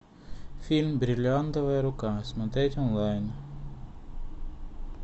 фильм бриллиантовая рука смотреть онлайн